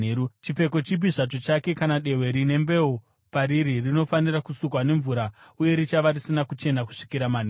Chipfeko chipi zvacho chake kana dehwe rine mbeu pariri rinofanira kusukwa nemvura uye richava risina kuchena kusvikira manheru.